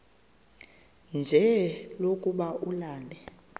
nje lokuba ulale